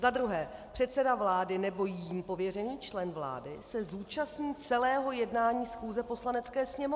Za druhé, předseda vlády nebo jím pověřený člen vlády se zúčastní celého jednání schůze Poslanecké sněmovny.